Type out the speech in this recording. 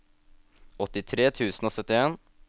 åttitre tusen og syttien